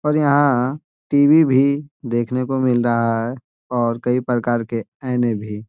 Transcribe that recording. और यहा टी.वी. भी देखने को मिल रहा है ओर कई प्रकार के आईने भी।